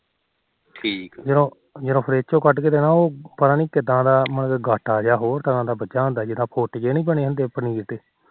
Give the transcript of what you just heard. ਜਦੋ ਜਦੋ ਫਰਿਜ ਚੋ ਕੱਢ ਕੇ ਦੇਣਾ ਪਤਾ ਨੀ ਕਿਦਾ ਦਾ ਗਾਟਾ ਜਾ ਬਣਿਆ ਹੋਣਾ ਜਿਦਾ ਪੁਟ ਜੇ ਨੀ ਬਣੇ ਹੁੰਦੇ ਪਨੀਰ ਦੇ